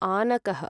आनकः